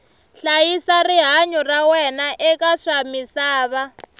hlayisa rihanyu ra wena eka swa misava